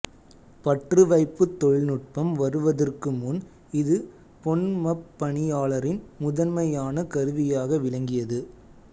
பற்றுவைப்புத் தொழில்நுட்பம் வருவதற்கு முன் இது பொன்மப் பணியாளரின் முதன்மையான கருவியாக விளங்கியது